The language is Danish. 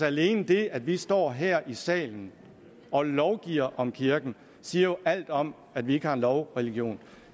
alene det at vi står her i salen og lovgiver om kirken siger jo alt om at vi ikke har en lovreligion